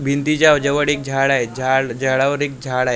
भिंतीच्या जवड एक झाड हाय झाड झाडावर एक झाड हाय .